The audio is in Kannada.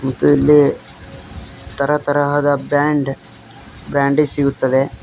ಮತ್ತು ಇಲ್ಲಿ ತರ ತರಹದ ಬ್ಯಾಂಡ್ ಬ್ರಾಂದಿ ಸಿಗುತ್ತದೆ.